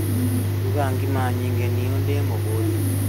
Ruga ngima nyingĩ niĩ ndĩmũhũtu